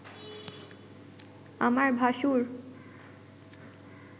আমার ভাশুর